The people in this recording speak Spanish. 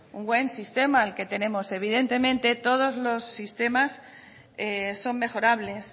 un buen sistema el que tenemos evidentemente todos los sistemas son mejorables